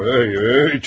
Hey, dəlirdinmi sən?